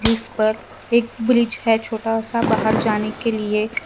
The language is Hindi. इस पर एक ब्रिज है छोटा सा बाहर जाने के लिए।